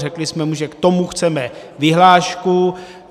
Řekli jsme mu, že k tomu chceme vyhlášku.